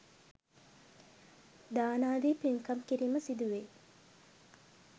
දානාදී පින්කම් කිරීම සිදුවෙයි.